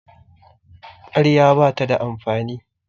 ƙarya ba ta da amfani